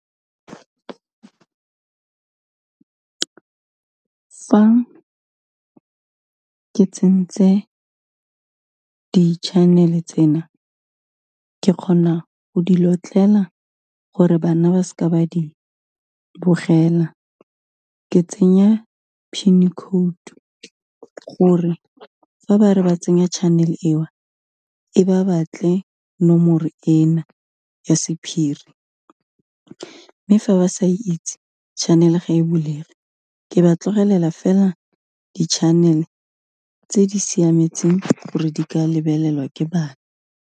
Fa ke tsentse di-channel-e tsena, ke kgona go di lotlela gore bana ba se ka ba di bogela, ke tsenya PIN code-tu, gore fa ba re ba tsenya channel-e eo, e ba batle nomore ena ya sephiri, mme fa ba sa itse, channel-e ga e bulege, ke ba tlogelela fela di-channel-e tse di siametseng gore di ka lebelelwa ke bana.